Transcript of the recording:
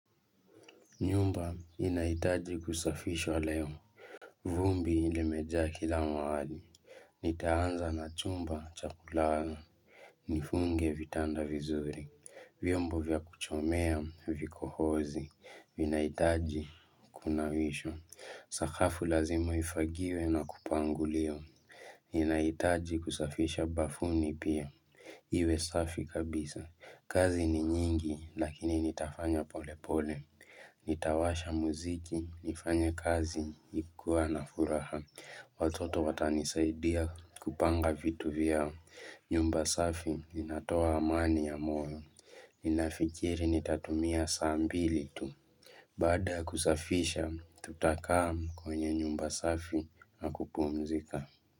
Nyumba inahitaji kusafishwa leo. Vumbi limejaa kila mahali. Nitaanza na chumba cha kulala. Nifunge vitanda vizuri. Vyombo vya kuchomea vikohozi. Vinahitaji kunawishwa. Sakafu lazima ifagiwe na kupanguliwa ninahitaji kusafisha bafuni pia. Iwe safi kabisa. Kazi ni nyingi lakini nitafanya pole pole. Nitawasha muziki, nifanye kazi, nikiwa na furaha Watoto watanisaidia kupanga vitu vyao. Nyumba safi inatoa amani ya moyo, ninafikiri nitatumia saa mbili tu Baada ya kusafisha, tutakaa kwenye nyumba safi na kupumzika.